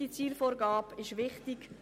Diese Zielvorgabe ist wichtig.